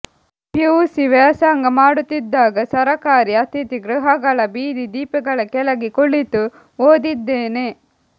PUC ವ್ಯಾಸಂಗ ಮಾಡುತ್ತಿದಾಗ ಸರಕಾರಿ ಅತಿಥಿ ಗೃಹಗಳ ಬೀದಿ ದೀಪಗಳ ಕೆಳಗೆ ಕುಳಿತು ಓದಿದ್ದೇನೆ